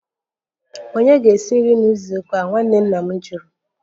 Ònye ga-esi nri na izu ụka a? Nwanne nna m jụrụ